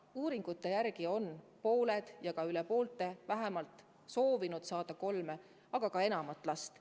Uuringute järgi on pooled ja isegi rohkem kui pooled soovinud saada vähemalt kolm last, aga ka rohkem.